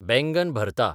बैंगन भरता বেগুন ভর্তা